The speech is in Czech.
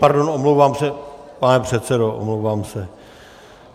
Pardon, omlouvám se, pane předsedo, omlouvám se.